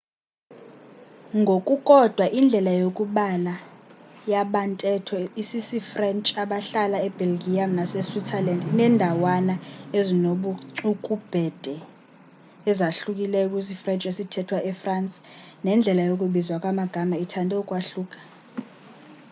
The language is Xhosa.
ngokukodwa indlela yokubala yabantetho isisifrench abahlala ebelgium naseswitzerland inendawana ezinobucukubhede ezahlukileyo kwisifrench esithethwa efrance nendlela yokubizwa kwamagama ithande ukwahluka